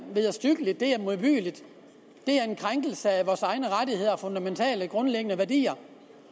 vederstyggeligt det er modbydeligt det er en krænkelse af vores egne rettigheder og fundamentale værdier